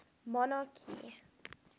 monarchy